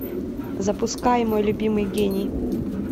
запускай мой любимый гений